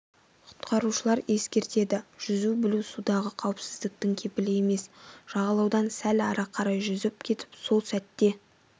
құтқарушылар ескертеді жүзу білу судағы қауіпсіздіктің кепілі емес жағалаудан сәл ары қарай жүзіп кетіп сол сәтте